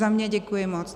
Za mě děkuji moc.